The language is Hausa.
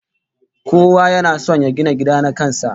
Kowa yana son ya gina gida na kan sa